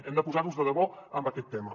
hem de posarnos de debò en aquest tema